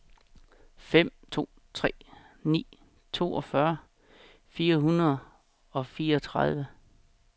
fem to tre ni toogfyrre fire hundrede og fireogtredive